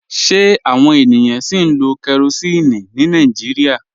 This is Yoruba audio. Ṣe awọn ènìyàn sì ń lo kérosínì ní Nàìjíríà?